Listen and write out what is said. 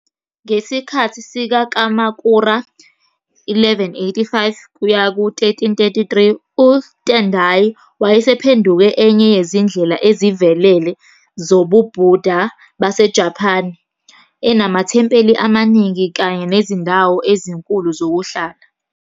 Ngesikhathi sikaKamakura, 1185-1333, uTendai wayesephenduke enye yezindlela ezivelele zobuBuddha baseJapane, enamathempeli amaningi kanye nezindawo ezinkulu zokuhlala.